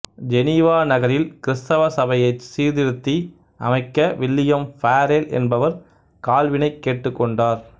Geneva நகரில் கிறித்தவ சபையைச் சீர்திருத்தி அமைக்க வில்லியம் ஃபாரெல் என்பவர் கால்வினைக் கேட்டுக்கொண்டார்